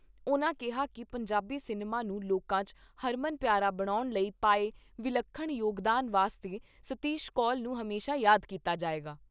ਉਨ੍ਹਾਂ ਕਿਹਾ ਕਿ ਪੰਜਾਬੀ ਸਿਨੇਮਾ ਨੂੰ ਲੋਕਾਂ 'ਚ ਹਰਮਨ ਪਿਆਰਾ ਬਣਾਉਣ ਲਈ ਪਾਏ ਵਿਲੱਖਣ ਯੋਗਦਾਨ ਵਾਸਤੇ ਸ਼ਤੀਸ਼ ਕੋਲ ਨੂੰ ਹਮੇਸ਼ਾ ਯਾਦ ਕੀਤਾ ਜਾਏਗਾ।